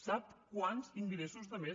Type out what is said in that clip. sap quants ingressos de més